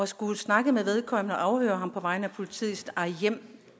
skulle snakke med vedkommende og afhøre ham på vegne af politiet i sit eget hjem